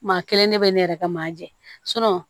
Maa kelen de bɛ ne yɛrɛ ka maa jɛ